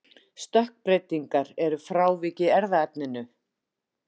Stökkbreytingar eru frávik í erfðaefninu.